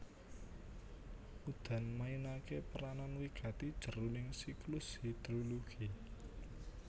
Udan mainaké peranan wigati jroning siklus hidrologi